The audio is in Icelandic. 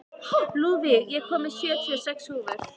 Lúðvíg, ég kom með sjötíu og sex húfur!